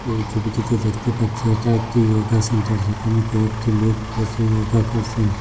এই ছবিটিতে দেখতে পাচ্ছি এটা একটি য়োগা সেন্টার যেখানে কয়েকটি লোক বসে য়োগা করসেন।